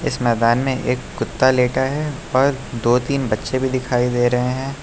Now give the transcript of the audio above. इस मैदान में एक कुत्ता लेटा है और दो तीन बच्चे भी दिखाई दे रहे हैं।